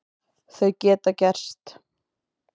Þau geta gerst.